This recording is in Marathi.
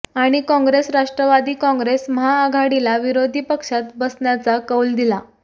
आणि काँग्रेस राष्ट्रवादी काँग्रेस महाआघाडीला विरोधी पक्षात बसण्याचा कौल दिला